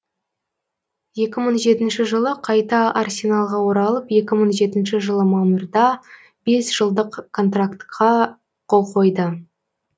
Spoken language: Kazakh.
екі мың жетінші жылы қайта арсеналға оралып екі мың жетінші жылы мамырда бес жылдық контрактқа қол қойды